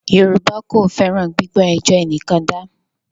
Yorùbá kò fẹ́ràn “ gbígbọ́ ẹjọ́ ẹnìkan dá ”.